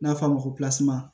N'a fɔ a ma ko